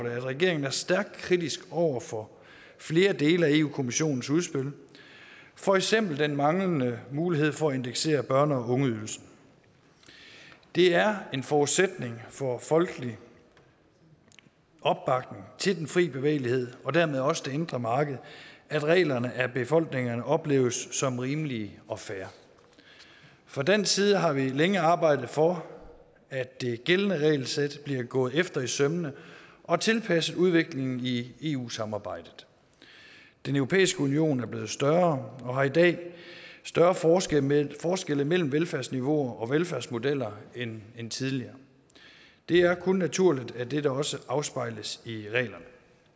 regeringen er stærkt kritisk over for flere dele af europa kommissionens udspil for eksempel den manglende mulighed for at indeksere børne og ungeydelsen det er en forudsætning for folkelig opbakning til den fri bevægelighed og dermed også det indre marked at reglerne af befolkningerne opleves som rimelige og fair fra dansk side har vi længe arbejdet for at det gældende regelsæt bliver gået efter i sømmene og tilpasset udviklingen i eu samarbejdet den europæiske union er blevet større og har i dag større forskelle mellem forskelle mellem velfærdsniveauer og velfærdsmodeller end end tidligere det er kun naturligt at dette også afspejles i reglerne